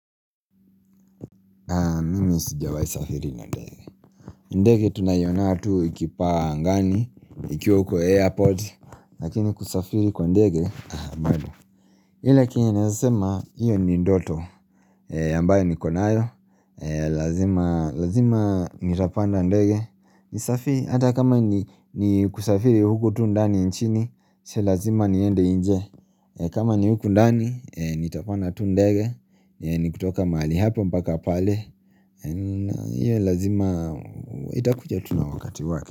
Ndegi tuna iyona tu ikipa angani Ikiwa huko airport Lakini kusafiri kwa ndege ile kinyenaezasema Iyo ni ndoto ambayo niko nayo Lazima Nitapanda ndege Nisafiri hata kama ni kusafiri huko tu ndani nchini sio lazima niende inje kama ni huko ndani Nitapanda tu ndege Nikutoka mali hapo mpaka pale Iyo lazima itakuja tu na wakati wake.